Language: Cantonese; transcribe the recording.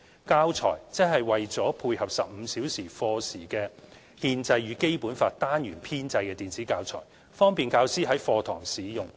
"教材"則是為配合15小時課時的"憲法與《基本法》"單元編製的電子教材，方便教師在課堂使用。